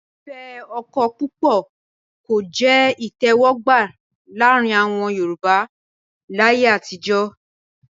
fífẹ́ ọkọ púpọ̀ kò jẹ́ ìtẹ̀wọ́gbà láàrin àwọn Yorùbá láyé àtijọ́.